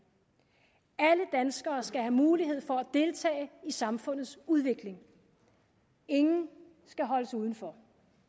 alle danskere skal have mulighed for at deltage i samfundets udvikling ingen skal holdes udenfor